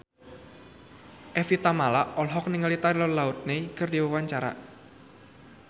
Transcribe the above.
Evie Tamala olohok ningali Taylor Lautner keur diwawancara